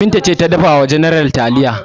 Binta ce ta dafa wa general taliya.